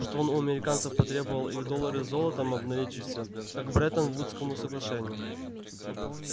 что он у американцев потребовал их доллары золотом обналичить всё как по бреттон-вудскому соглашению